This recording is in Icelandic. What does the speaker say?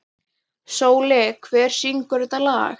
Sóli, hver syngur þetta lag?